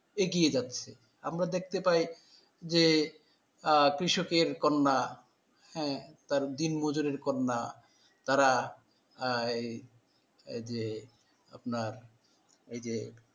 এগিয়ে যাচ্ছে। আমরা দেখতে পাই যে আহ কৃষকের কন্যা। হ্যাঁ, তার দিনমজুরের কন্যা তারা আহ এই, এই যে আপনার, এই যে